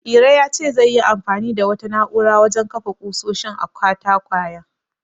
Iro ya ce zai yi anfani da wata na'urar wajen kafa ƙusoshin a katakwayen.